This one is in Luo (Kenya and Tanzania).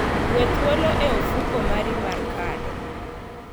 We thuolo e ofuko mari mar kado.